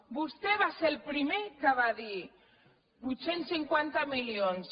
vostè va ser el primer que va dir vuit cents i cinquanta milions